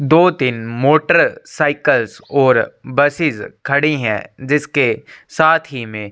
दो-तीन motorcycle और buses खड़ी है जिसके साथ ही में --